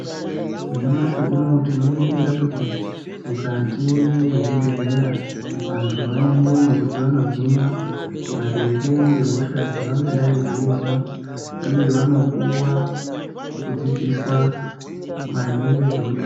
Nyamashi unowu tino ningira kuti mukati mezvi bhehleya vandu vanoendemo kuti vano hinwa maringe ngehosha dzavangadai veinzwa uye vanopuwa kudzidziswa maringe ngezveutano.